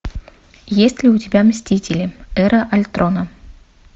есть ли у тебя мстители эра альтрона